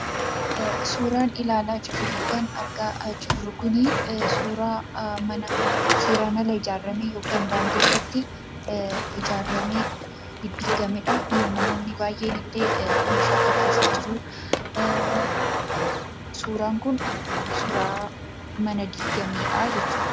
Suuraan ilaalaa jirru kun suuraa manaa seeraan ala ijaarame yookaan daandii irratti ijaaramee diddiigameedha. Kunoo namoonni baay'een illee meeshaa kakaasaa jiru. Suuraan kun suuraa mana diigameedha jechuudha.